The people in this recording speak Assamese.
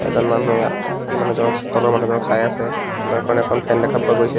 এজন মানুহে ইয়াত এই মানুহজনক তলৰ মানুহজনক চাই আছে দোকানখনত এখন ফেন দেখা পোৱা গৈছে।